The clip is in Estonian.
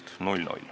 Aitäh!